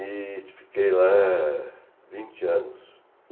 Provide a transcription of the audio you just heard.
E fiquei lá vinte anos.